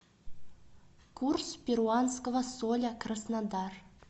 курс перуанского соля краснодар